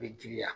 Bɛ giriya